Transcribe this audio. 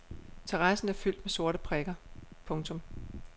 Terrassen er fyldt med sorte prikker. punktum